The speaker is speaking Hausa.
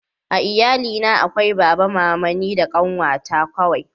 a iyali na akwai baba mama ni da ƙanwa ta kawai